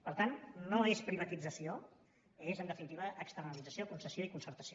per tant no és privatització és en definitiva externalització concessió i concertació